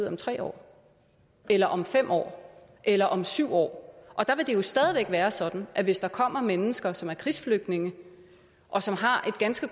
om tre år eller om fem år eller om syv år der vil det jo stadig være sådan at hvis der kommer mennesker som er krigsflygtninge og som har et ganske